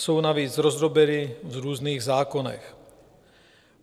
Jsou navíc rozdrobeny v různých zákonech.